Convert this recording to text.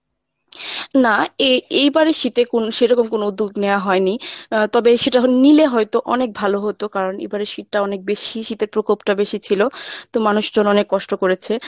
না এ~ এবারের শীতে কোন সে রকম কোনো উদ্যোগ নেওয়া হয়নি আহ তকে সেটা নিলে হয়ত অনেক ভালো হত কারণ এবোরের শীতটা অনেক বেশি শীতের প্রকোপটা অনেক বেশি ছিল তো মানুষজন অনেক কষ্ট করেছে। আম আসলে আমাদেরই ভুল কিছু চিন্তাভাবনার